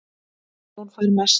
Jón fær mest